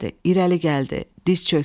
İrəli gəldi, diz çökdü.